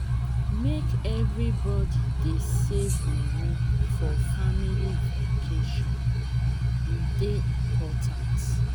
make everybody dey save moni for family vacation e dey important.